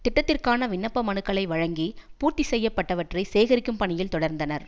திட்டத்திற்கான விண்ணப்ப மனுக்களை வழங்கி பூர்த்தி செய்யப்பட்டவற்றை சேகரிக்கும் பணியில் தொடர்ந்தனர்